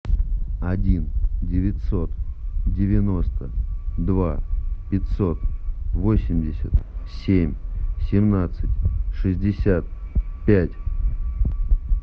один девятьсот девяносто два пятьсот восемьдесят семь семнадцать шестьдесят пять